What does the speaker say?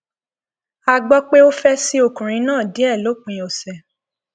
a gbọ pé ó fẹ ṣí ọkùnrin náà díẹ lópin ọsẹ